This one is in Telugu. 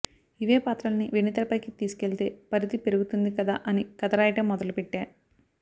ఇవే పాత్రల్ని వెండితెరపైకి తీసుకెళితే పరిధి పెరుగుతుంది కదా అని కథ రాయడం మొదలుపెట్టా